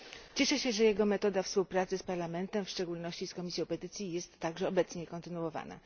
Cieszę się, że jego metoda współpracy z Parlamentem, w szczególności z Komisją Petycji, jest także obecnie kontynuowana.